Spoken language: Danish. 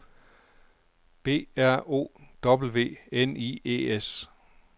B R O W N I E S